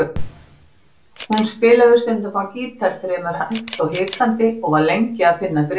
Hún spilaði stundum á gítar fremur hægt og hikandi og var lengi að finna gripin.